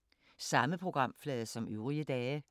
Samme programflade som øvrige dage